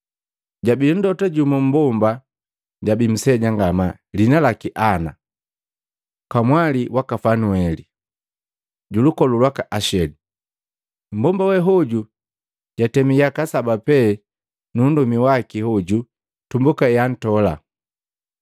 Jabi mlota jumu mmbomba, jabi nseja ngamaa, lihina laki Ana, kamwali waka Fanueli, julukolu lwaka Asheli. Mmbomba we hoju jatemi yaka saba pee nu nndomi waki hoju tumbuka ehantola.